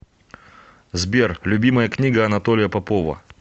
сбер любимая книга анатолия попова